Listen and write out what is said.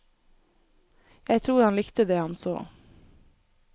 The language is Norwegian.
Jeg tror han likte det han så.